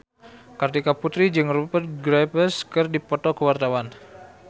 Kartika Putri jeung Rupert Graves keur dipoto ku wartawan